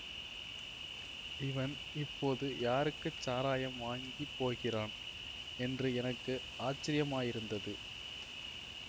இவன் இப்போது யாருக்கு சாராயம் வாங்கிப் போகிறான் என்று எனக்கு ஆச்சரியமாயிருந்தது